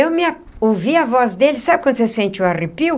E me a ouvi a voz dele... sabe quando você sente um arrepio?